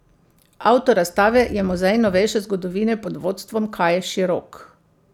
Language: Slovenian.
Avtor razstave je Muzej novejše zgodovine pod vodstvom Kaje Širok.